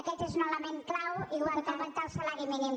aquest és un element clau igual que augmentar el salari mínim